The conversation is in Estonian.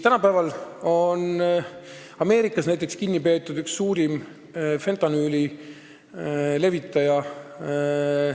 Nüüd on Ameerikas kinni peetud üks suurim fentanüüli levitaja.